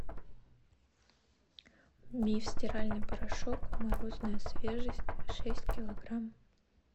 миф стиральный порошок морозная свежесть шесть килограмм